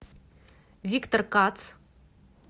виктор кац